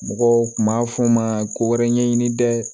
Mɔgɔw kun b'a fɔ n ma ko wɛrɛ ɲɛɲini dɛ